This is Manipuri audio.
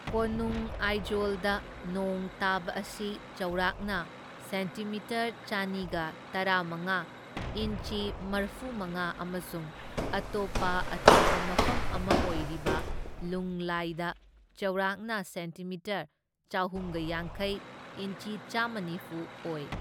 ꯀꯣꯅꯨꯡ ꯑꯥꯏꯖꯣꯜꯗ ꯅꯣꯡ ꯇꯥꯕ ꯑꯁꯤ ꯆꯥꯎꯔꯥꯛꯅ ꯁꯦꯟꯇꯤꯃꯤꯇꯔ ꯆꯅꯤꯒ ꯇꯔꯥꯃꯉꯥ ꯏꯟꯆꯤ ꯃꯔꯐꯨꯃꯉꯥ ꯑꯃꯁꯨꯡ ꯑꯇꯣꯞꯄ ꯑꯆꯧꯕ ꯃꯐꯝ ꯑꯃ ꯑꯣꯏꯔꯤꯕ ꯂꯨꯡꯂꯦꯏꯗ ꯆꯥꯎꯔꯥꯛꯅ ꯁꯦꯟꯇꯤꯃꯤꯇꯔ ꯆꯍꯨꯝꯒ ꯌꯥꯡꯈꯩ ꯏꯟꯆꯤ ꯆꯥꯝꯃ ꯅꯤꯐꯨ ꯑꯣꯏ꯫